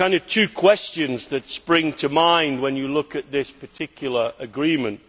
Two questions spring to mind when you look at this particular agreement.